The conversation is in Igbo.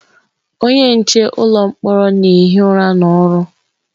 Onye nche ụlọ mkpọrọ na-ehi ụra n'ọrụ.